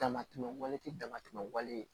Damatɛmɛ wale tɛ damatɛmɛ wale